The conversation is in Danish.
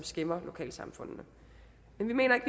skæmmer lokalsamfundene men vi mener ikke